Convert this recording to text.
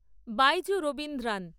Baiju Raveendran